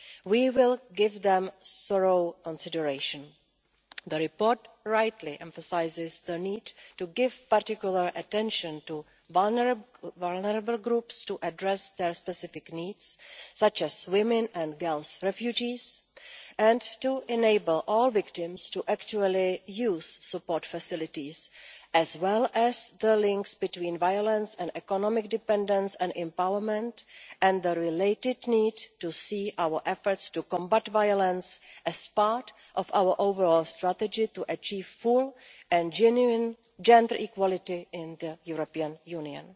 We will give them thorough consideration. The report rightly emphasises the need to give particular attention to vulnerable groups to address their specific needs, such as female refugees, and to enable all victims to actually use support facilities, as well as the links between violence and economic dependence and empowerment and the related need to see our efforts to combat violence as part of our overall strategy to achieve full and genuine gender equality in the European Union.